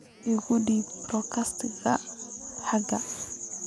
U gudub podcast-ka xiga